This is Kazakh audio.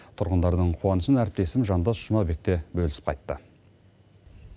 тұрғындардың қуанышын әріптесім жандос жұмабек те бөлісіп қайтты